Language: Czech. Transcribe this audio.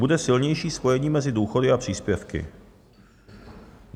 Bude silnější spojení mezi důchody a příspěvky.